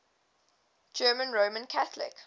german roman catholic